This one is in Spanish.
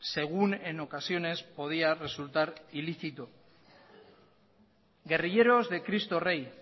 según en ocasiones podía resultar ilícito guerrilleros de cristo rey